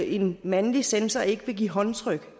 en mandlig censor så ikke vil give håndtryk